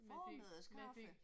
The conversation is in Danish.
Formiddagskaffe